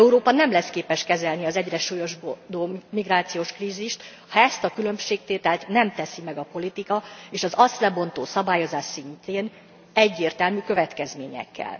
Európa nem lesz képes kezelni az egyre súlyosbodó migrációs krízist, ha ezt a különbségtételt nem teszi meg a politika és az azt kibontó szabályozás szintjén egyértelmű következményekkel.